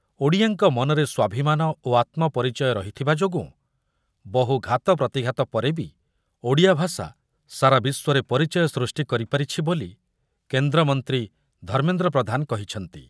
ଓଡ଼ିଆଙ୍କ ମନରେ ସ୍ୱାଭିମାନ ଓ ଆତ୍ମ ପରିଚୟ ରହିଥିବା ଯୋଗୁଁ ବହୁ ଘାତ ପ୍ରତିଘାତ ପରେ ବି ଓଡ଼ିଆ ଭାଷା ସାରା ବିଶ୍ୱରେ ପରିଚୟ ସୃଷ୍ଟି କରିପାରିଛି ବୋଲି କେନ୍ଦ୍ରମନ୍ତ୍ରୀ ଧର୍ମେନ୍ଦ୍ର ପ୍ରଧାନ କହିଛନ୍ତିି।